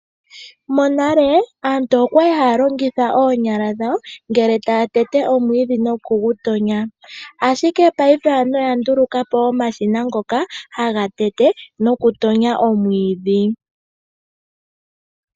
Monale aantu okwali haya longitha oonyala dhawo ngele taa tete omwiidhi noku gutonya. Ashike paife aantu oya ndulukapo omashina ngoka haga tete nokutonya omwiidhi.